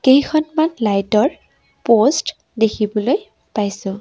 কেইখনমান লাইট ৰ পোষ্ট দেখিবলৈ পাইছোঁ।